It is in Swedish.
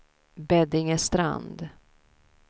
Beddingestrand